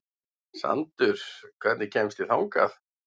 Sandur, hvernig kemst ég þangað?